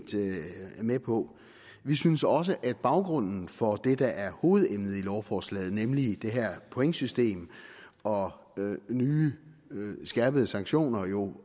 med på vi synes også at baggrunden for det der er hovedemnet i lovforslaget nemlig det her pointsystem og nye skærpede sanktioner jo